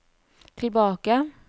tilbake